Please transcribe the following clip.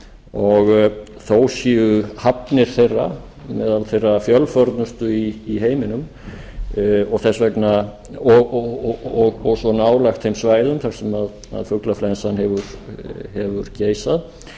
og þó séu hafnir þeirra meðal þeirra fjölförnustu í heiminum og svo nálægt þeim svæðum sem fuglaflensan hefur geisað